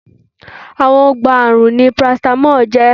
Awogbaààrùn ni oògùn parasítámọ̀ jẹ́